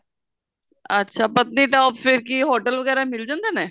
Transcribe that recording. ਅੱਛਾ patnitop ਕਿ ਫੇਰ hotel ਵਗੈਰਾ ਮਿਲ ਜਾਂਦੇ ਨੇ